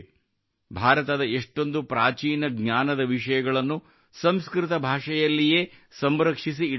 ಭಾರತದ ಎಷ್ಟೊಂದು ಪ್ರಾಚೀನ ಜ್ಞಾನದ ವಿಷಯಗಳನ್ನು ಸಂಸ್ಕೃತ ಭಾಷೆಯಲ್ಲಿಯೇ ಸಂರಕ್ಷಿಸಿ ಇಡಲಾಗಿದೆ